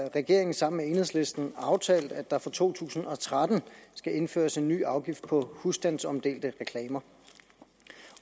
regeringen sammen med enhedslisten aftalt at der fra to tusind og tretten skal indføres en ny afgift på husstandsomdelte reklamer